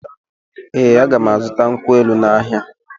Ee, a ga m azụta nkwụ elụ n’ahịa.